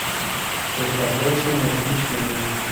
краткосрочное размещение